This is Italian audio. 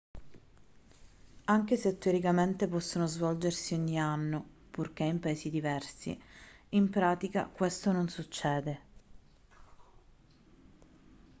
anche se teoricamente possono svolgersi ogni anno purché in paesi diversi in pratica questo non succede